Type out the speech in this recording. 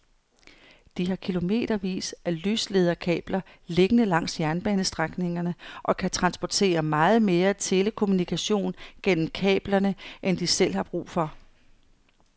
De har kilometervis af lyslederkabler liggende langs jernbanestrækningerne og kan transportere meget mere telekommunikation gennem kablerne end de selv har brug for.